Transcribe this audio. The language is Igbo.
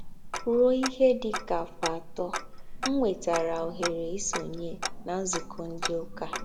Ruo ihe dị ka afọ atọ,m nwetara ohere isonye na nzukọ ndị ụka